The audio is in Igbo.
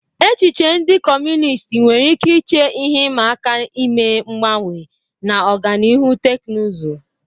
Echiche ndị Kọmunist nwere ike iche ihe ịma aka ime mgbanwe na ọganihu teknụzụ